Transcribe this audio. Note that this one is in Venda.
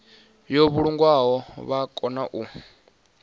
yo vhulungwaho vha kone u